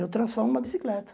Eu transformo em uma bicicleta.